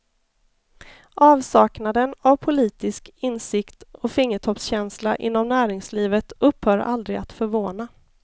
Avsaknaden av politisk insikt och fingertoppskänsla inom näringslivet upphör aldrig att förvåna.